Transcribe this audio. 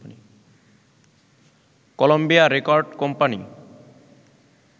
Colombia record company